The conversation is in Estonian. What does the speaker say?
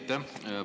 Aitäh!